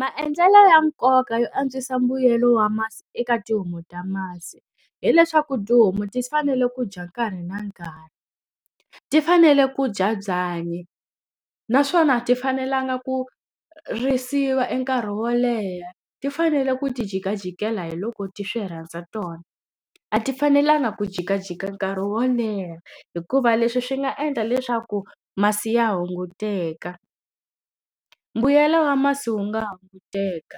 Maendlelo ya nkoka yo antswisa mbuyelo wa masi eka tihomu ta masi. Hi leswaku tihomu ti fanele ku dya nkarhi na nkarhi, ti fanele ku dya byanyi. Naswona a ti fanelanga ku risiwa e nkarhi wo leha, ti fanele ku ti jikajikela hi loko ti swi rhandza tona. A ti fanelanga ku jikajika nkarhi wo leha hikuva leswi swi nga endla leswaku masi ya hunguteka, mbuyelo wa masi wu nga hunguteka.